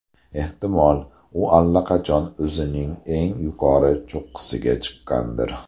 Ehtimol, u allaqachon o‘zining eng yuqori cho‘qqisiga chiqqandir.